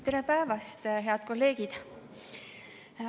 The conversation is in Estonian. Tere päevast, head kolleegid!